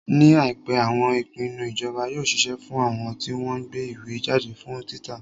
Ní àìpé, àwọn ìpinnu ìjọba yóò ṣiṣẹ́ fún àwọn tí wọ́n ń gbé ìwé jáde fún títa.